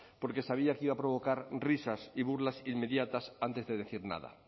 porque sabía que iba a provocar risas y burlas inmediatas antes de decir nada